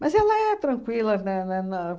Mas ela é tranquila, né, né, na